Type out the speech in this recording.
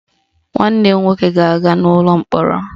Nwanne m nwoke ga-aga ụlọ mkpọrọ